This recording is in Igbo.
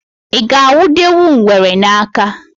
I ga-anwụdenwu ngwere n'aka